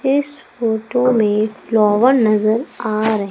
इस फोटो में फ्लावर नजर आ रहे--